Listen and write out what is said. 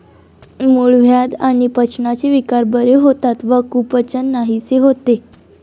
मूळव्याध आणि पचनाचे विकार बरे होतात व कुपचन नाहीसे होते.